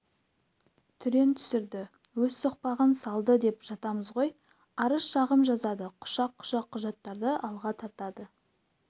түрен түсірді өз соқпағын салды деп жатамыз ғой арыз-шағым жазады құшақ-құшақ құжаттарды алға тартады